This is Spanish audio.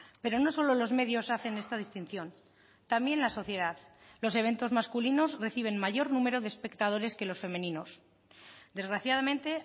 pero no solo los medios hacen esta distinción también la sociedad los eventos masculinos reciben mayor número de espectadores que los femeninos desgraciadamente